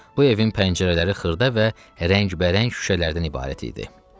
Bu evin pəncərələri xırda və rəngbərəng şüşələrdən ibarət idi.